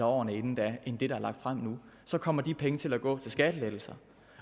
årene inden end det der er lagt frem nu kommer de penge til at gå til skattelettelser